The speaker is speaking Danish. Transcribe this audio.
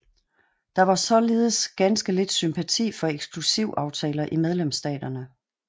Der var således ganske lidt sympati for eksklusivaftaler i medlemsstaterne